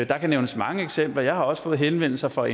der kan nævnes mange eksempler jeg har også fået henvendelser fra